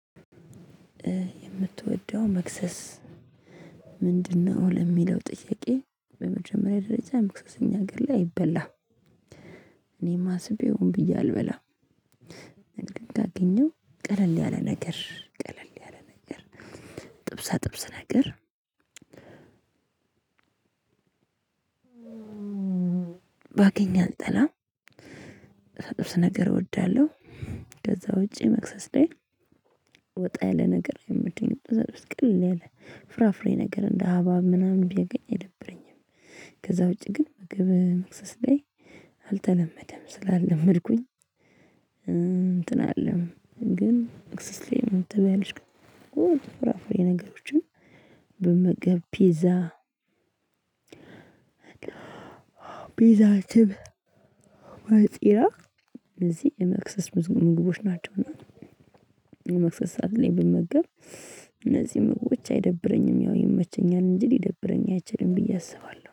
የምትወደው መክሰስ ምንድነው? ለሚለው ጥያቄ በመጀመሪያ ደረጃ ምክሰሰኛ ግላ አይበላም። እኔም አስቤው ሆን ብዬ አልበላም። ነገር ግን ካገኘሁ ቀለል ያለ ነገር ቀለል ያለ ነገር። ጥብሳ ጥብስ ነገር ባገኝ አልጠላም። ጥብሳ ጥብስ ነገር እወዳለሁ። ከዛ ውጭ መክሰስ ላይ ወጣ ያለ ነገር አይመቸኝም። ጥብሳ ጥብስ ቀለል ያለ ፍራፍሬ ነገር እንደ ሀባብ ምናምን ባገኝ አይደብረኝም። ከዛ ውጪ ግን ምግብ መክሰስ ላይ አልተለመደም ስላልለመድኩኝ። እንትን አለም ግን መክሰስ ላይ ምን ትበያለሽ? ፍራፍሬ ነገሮችን መመገብ ፒዛ። ፒዛ ትብ ፈጢራ እነዚህ የመክሰስ ብዙ ምግቦች ናቸውና። የመክሰስ ሰዓት ላይ ብመገብ እነዚህ ምግቦች አይደብረኝም ያው ይመቸኛል እንጂ ሊደብረኝ አይችልም ብዬ አስባለሁ